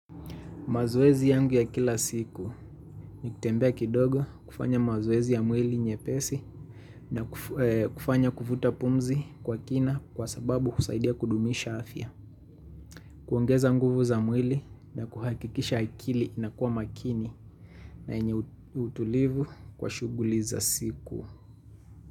Mazoezi yangu ya kila siku ni kutembea kidogo, kufanya mazoezi ya mwili nyepesi na kufanya kuvuta pumzi kwa kina kwa sababu kusaidia kudumisha afya. Kuongeza nguvu za mwili na kuhakikisha akili inakuwa makini na yenye utulivu kwa shughuli za siku.